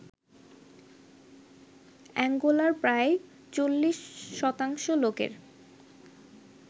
অ্যাঙ্গোলার প্রায় ৪০% লোকের